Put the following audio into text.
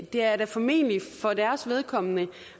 det er er formentlig for deres vedkommende